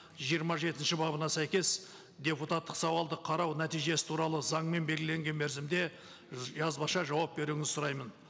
жиырма жетінші бабына сәйкес депутаттық сауалды қарау нәтижесі туралы заңмен белгіленген мерзімде жазбаша жауап беруіңізді сұраймын